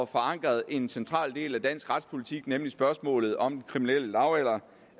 forankret en central del af dansk retspolitik nemlig spørgsmålet om den kriminelle lavalder